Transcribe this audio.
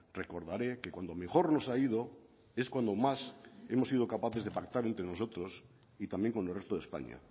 recordaré que cuando mejor nos ha ido es cuando más hemos sido capaces de pactar entre nosotros y también con el resto de españa